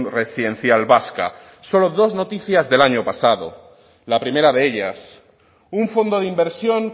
residencial vascas solo dos noticias del año pasado la primera de ellas un fondo de inversión